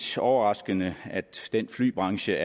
overraskende at den flybranche